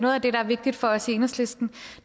noget af det der er vigtigt for os i enhedslisten